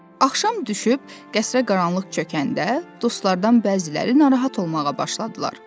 Axşam düşüb qəsrə qaranlıq çökəndə, dostlardan bəziləri narahat olmağa başladılar.